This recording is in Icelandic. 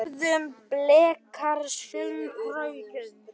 Höfðu Blikar samband?